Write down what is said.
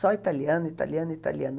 Só italiano, italiano, italiano.